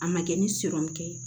A ma kɛ ni ye